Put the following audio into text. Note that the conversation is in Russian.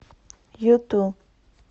юту